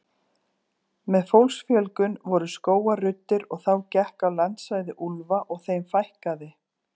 Með fólksfjölgun voru skógar ruddir og þá gekk á landsvæði úlfa og þeim fækkaði.